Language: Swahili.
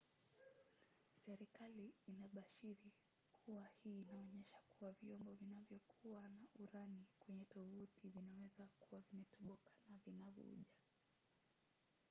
serikali inabashiri kuwa hii inaonyesha kuwa vyombo vinayokuwa na urani kwenye tovuti vinaweza kuwa vimetoboka na vinavuja